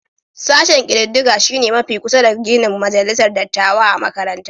Sashen kididdiga shi ne mafi kusa da ginin majalisar dattawa a makarantar